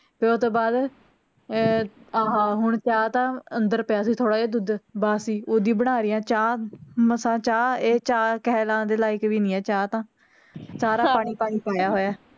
ਓਹ ਤੋਂ ਬਾਅਦ ਅਹ ਹਾਂ ਹੁਣ ਚਾਹ ਤਾਂ ਅੰਦਰ ਪਿਆ ਸੀ ਥੋੜਾ ਜੇਹਾ ਦੁੱਧ ਬਸ ਓਹਦੀ ਬਣਾ ਲੈ ਚਾਹ ਮਸਾਂ ਚਾਹ ਇਹ ਚਾਹ ਕਹਿਲਾਨ ਦੇ ਲਾਇਕ ਵੀ ਨਹੀਂ ਹੈ ਇਹ ਚਾਹ ਤਾਂ ਸਾਰਾ